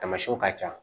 Tamasiɛnw ka ca